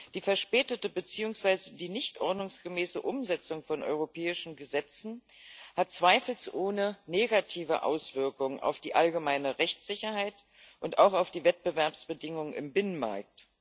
Die verspätete beziehungsweise die nicht ordnungsgemäße Umsetzung von europäischen Gesetzen hat zweifelsohne negative Auswirkungen auf die allgemeine Rechtssicherheit und auch auf die Wettbewerbsbedingungen im Binnenmarkt.